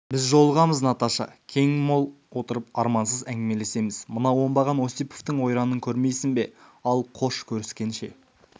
біз жолығамыз наташа кең-мол отырып армансыз әңгімелесеміз мына оңбаған осиповтың ойранын көрмейсің бе ал қош көріскенше